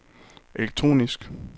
elektronisk